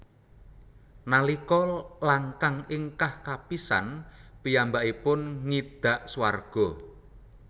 Nalika langkang ingkah kapisan piyambakipun ngidak swarga